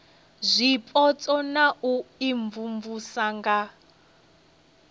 zwipotso na u imvumvusa nga